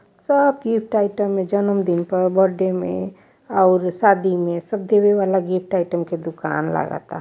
सब gift item में जन्मदिन प बड्डे में और शादी में सब देवे वाला गिफ्ट आइटम के दुकान लागता।